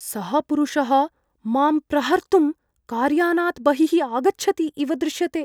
सः पुरुषः माम् प्रहर्तुं कार्यानात् बहिः आगच्छति इव दृश्यते।